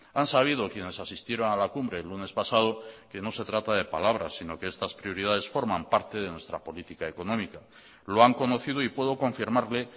han sabido quienes asistieron a la cumbre el lunes pasado que no se trata de palabras sino que estas prioridades forman parte de nuestra política económica lo han conocido y puedo confirmarle